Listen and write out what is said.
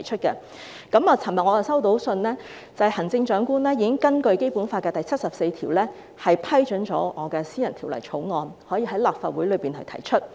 我昨天收到的信件表示，行政長官已根據《基本法》第七十四條，批准我的私人條例草案可以向立法會提出。